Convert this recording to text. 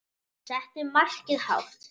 Settu markið hátt.